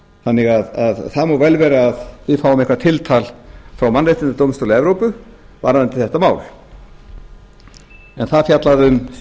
þannig að það má vel vera að við fáum eitthvað tiltal frá mannréttindadómstóli evrópu varðandi þetta mál en það fjallaði um